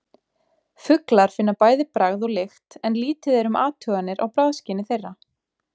Fuglar finna bæði bragð og lykt en lítið er um athuganir á bragðskyni þeirra.